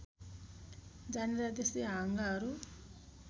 जाने र त्यस्तै हाँगाहरू